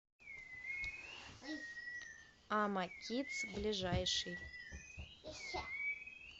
амакидс ближайший